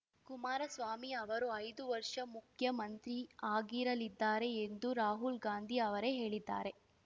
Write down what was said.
ಕುಮಾರಸ್ವಾಮಿ ಅವರು ಐದು ವರ್ಷ ಮುಖ್ಯಮಂತ್ರಿ ಆಗಿರಲಿದ್ದಾರೆ ಎಂದು ರಾಹುಲ್‌ ಗಾಂಧಿ ಅವರೇ ಹೇಳಿದ್ದಾರೆ